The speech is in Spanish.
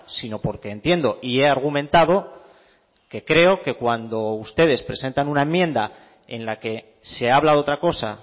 sino porque entiendo y he argumentado que creo que cuando ustedes presentan una enmienda en la que se habla de otra cosa